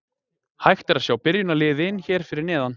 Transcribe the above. Hægt er að sjá byrjunarliðin hér fyrir neðan.